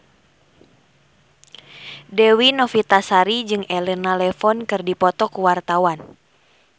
Dewi Novitasari jeung Elena Levon keur dipoto ku wartawan